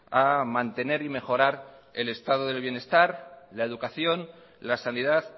a mantener y mejorar el estado del bienestar la educación la sanidad